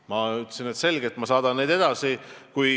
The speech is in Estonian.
Ma ütlesin, et selge, ma saadan neid edasi.